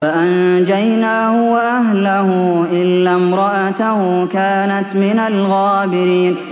فَأَنجَيْنَاهُ وَأَهْلَهُ إِلَّا امْرَأَتَهُ كَانَتْ مِنَ الْغَابِرِينَ